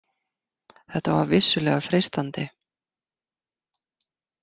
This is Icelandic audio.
Þetta var vissulega freistandi.